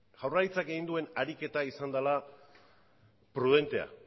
jaurlaritzak egin duen ariketa izan dela prudentea